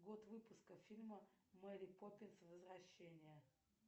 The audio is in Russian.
год выпуска фильма мэри поппинс возвращение